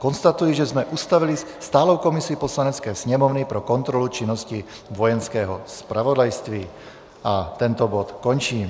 Konstatuji, že jsme ustavili stálou komisi Poslanecké sněmovny pro kontrolu činnosti Vojenského zpravodajství, a tento bod končím.